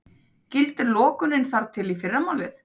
Gildir lokunin þar til í fyrramálið